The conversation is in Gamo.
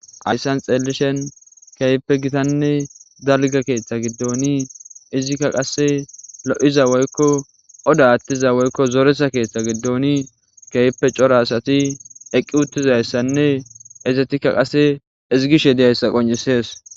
Hayssan xeelishen keyppe gitanne dalga keeththa giddooni izikka qase lo7iza woykko oda attiza woykko zoresa keeththa giddooni keyppe cora asati eqqi uttizayssanne izetikka qase izigishe deyayssa qoncisees.